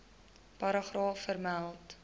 paragraaf vermeld